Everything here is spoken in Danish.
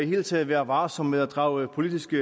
hele taget være varsom med at drage politiske